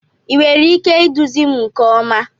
Ị nwere ike iduzi m nke ọma?